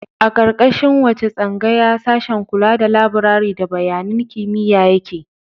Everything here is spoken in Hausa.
A ƙarƙashin wace tsangaya sashen kula da labirari da bayanan kimiyya yake?